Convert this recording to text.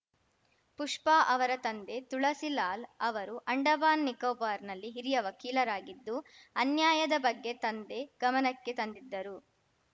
ಪುಷ್ಪಾ ಅವರ ತಂದೆ ತುಳಸಿ ಲಾಲ್‌ ಅವರು ಅಂಡಮಾನ್‌ ನಿಕೋಬಾರ್‌ನಲ್ಲಿ ಹಿರಿಯ ವಕೀಲರಾಗಿದ್ದು ಅನ್ಯಾಯದ ಬಗ್ಗೆ ತಂದೆ ಗಮನಕ್ಕೆ ತಂದಿದ್ದರು